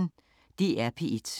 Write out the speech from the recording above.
DR P1